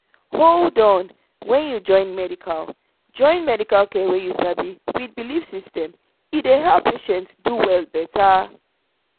hold on — when you join medical join medical care wey you sabi with belief system e dey help patient do well better.